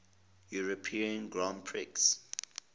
european grand prix